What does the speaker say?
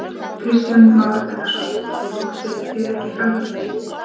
Kristján Már Unnarsson: Óttist þið ekki framhaldið?